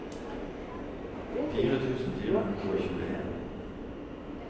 fire tusen fire hundre og tjueen